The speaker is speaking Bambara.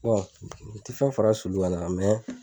u tɛ fɛn fara